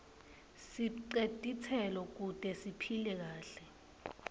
sibce titselo kute siphile kahle